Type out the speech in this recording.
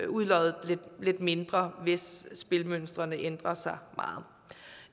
udloddet lidt mindre hvis spilmønstrene ændrer sig meget